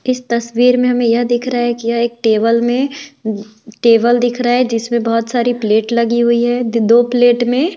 इस तस्वीर में हमें यह दिख रा कि यह एक टेबल में टेबल दिख रा है जिसमें बहोत सारी प्लेट लगी हुई है द-दो प्लेट में --